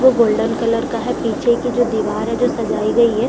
वो golden colour का है पीछे की जो दिवार है वो सजाई गयी है।